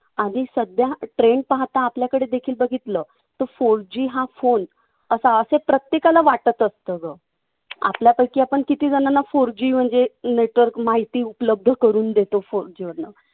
आणि सध्या trande पाहता आपल्याकडेदेखील बघितलं तर four G हा phone असावा असं प्रत्येकाला वाटत असतं गं. आपल्यापैकी आपण कितीजणांना four G म्हणजे माहिती उपलब्ध करून देतो